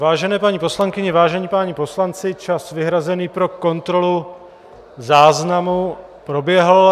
Vážené paní poslankyně, vážení páni poslanci, čas vyhrazený pro kontrolu záznamu proběhl.